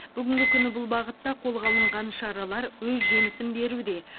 бүгінгі күні бұл бағытта қолға алынған шаралар өз жемісін беруде